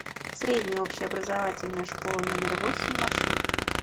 средняя общеобразовательная школа номер восемь маршрут